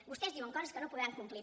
vostès diuen coses que no podran complir